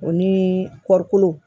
O ni kɔɔrikolo